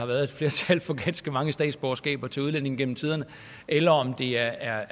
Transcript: været et flertal for ganske mange statsborgerskaber til udlændinge gennem tiderne eller om det er